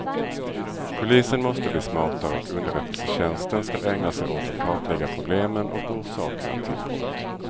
Polisen måste bli smartare och underrättelsetjänsten skall ägna sig åt att kartlägga problemen och orsakerna till brott.